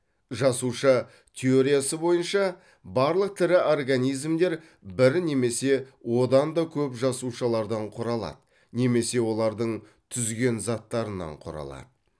жасуша теориясы бойынша барлық тірі организмдер бір немесе одан да көп жасушалардан құралады немесе олардың түзген заттарынан құралады